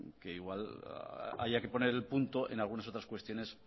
que igual haya que poner el punto en algunas otras cuestiones